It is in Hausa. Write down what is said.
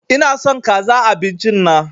Ina son kaza a abincin na